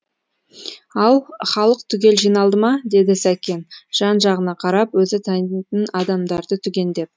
ал халық түгел жиналды ма деді сәкен жан жағына қарап өзі танитын адамдарын түгендеп